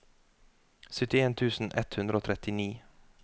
syttien tusen ett hundre og trettini